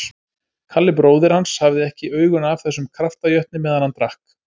Kalli bróðir hans hafði ekki augun af þessum kraftajötni meðan hann drakk